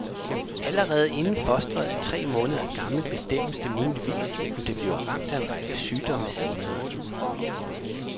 Allerede inden fosteret er tre måneder gammelt bestemmes det muligvis, om det bliver ramt af en række sygdomme senere.